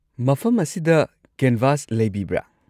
ꯃꯐꯝ ꯑꯁꯤꯗ ꯀꯦꯟꯚꯥꯁ ꯂꯩꯕꯤꯕ꯭ꯔꯥ?